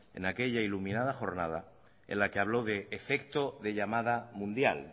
en aquella iluminada jornada en la que habló efecto de llamada mundial